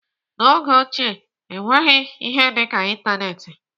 N'oge ochie, enweghị ihe dịka ịntanetị.